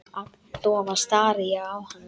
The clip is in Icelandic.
Agndofa stari ég á hana.